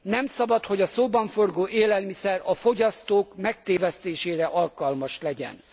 Nem szabad, hogy a szóban forgó élelmiszer a fogyasztók megtévesztésére alkalmas legyen.